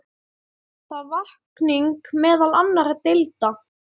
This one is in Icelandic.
Það vakning meðal annarra deilda.